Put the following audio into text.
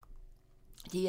DR2